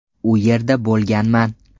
U yerda bo‘lganman.